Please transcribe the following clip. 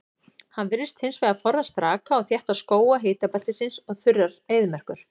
Hann virðist hins vegar forðast raka og þétta skóga hitabeltisins og þurrar eyðimerkur.